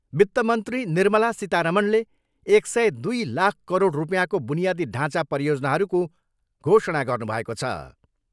वित्त मन्त्री निर्मला सीतारमणले एक सय दुई लख करोड रुपियाँको बुनियादी ढाँचा परियोजनाहरूको घोषणा गर्नुभएको छ।